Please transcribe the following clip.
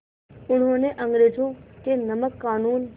उन्होंने अंग्रेज़ों के नमक क़ानून